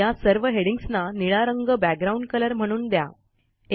या सर्व हेडिंग्जना निळा रंग बॅकग्राउंड कलर म्हणून द्या